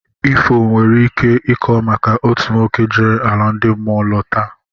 Ifo nwere ike ịkọ maka otu nwoke jere ala ndị mmụọ lọta